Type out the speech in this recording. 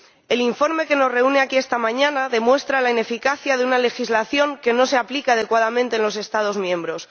El informe que nos reúne aquí esta mañana demuestra la ineficacia de una legislación que no se aplica adecuadamente en los Estados miembros.